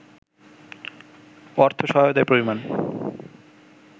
অর্থ সহায়তার পরিমান